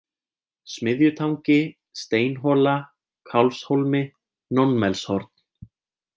Smiðjutangi, Steinhola, Kálfshólmi, Nónmelshorn